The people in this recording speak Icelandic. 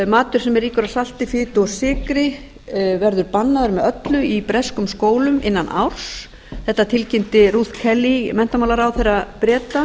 matur sem er ríkur af salti fitu og sykri verður bannaður með öllu í breskum skólum innan árs þetta tilkynni rut kelly menntamálaráðherra breta